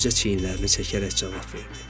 cə çiynlərini çəkərək cavab verdi.